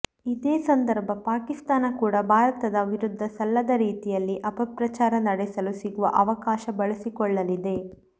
ಇದೇ ಸಂದರ್ಭ ಪಾಕಿಸ್ಥಾನ ಕೂಡ ಭಾರತದ ವಿರುದ್ಧ ಸಲ್ಲದ ರೀತಿಯಲ್ಲಿ ಅಪಪ್ರಚಾರ ನಡೆಸಲು ಸಿಗುವ ಅವಕಾಶ ಬಳಸಿಕೊಳ್ಳಲಿದೆ